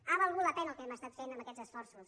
ha valgut la pena el que hem estat fent amb aquests esforços